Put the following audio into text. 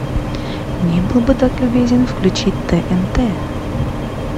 не был бы так любезен включить тнт